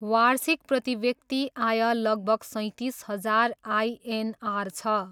वार्षिक प्रतिव्यक्ति आय लगभग सैँतिस हजार आइएनआर छ।